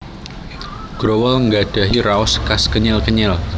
Growol nggadhahi raos khas kenyil kenyil